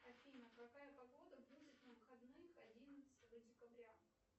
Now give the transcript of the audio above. афина какая погода будет на выходных одиннадцатого декабря